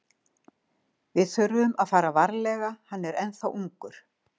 Við þurfum að fara varlega, hann er ennþá ungur.